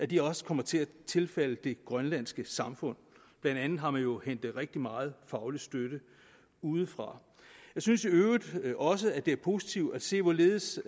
de også kommer til at tilfalde det grønlandske samfund blandt andet har man jo hentet rigtig meget faglig støtte udefra jeg synes i øvrigt også at det er positivt at se hvorledes